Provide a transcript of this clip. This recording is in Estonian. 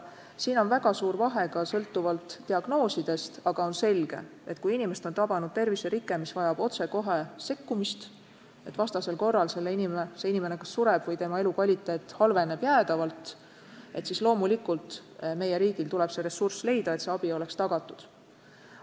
Siin on väga suur vahe ka sõltuvalt diagnoosidest, aga on selge, et kui inimest on tabanud terviserike, mis vajab otsekohe sekkumist, vastasel korral inimene kas sureb või tema elukvaliteet halveneb jäädavalt, siis loomulikult meie riigil tuleb leida ressurss, et hädavajalik abi oleks tagatud.